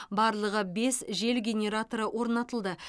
барлығы бес жел генераторы орнатылды